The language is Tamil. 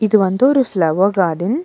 இது வந்து ஒரு ஃப்ளவர் கார்டன் .